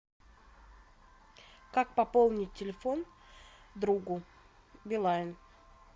как пополнить телефон другу билайн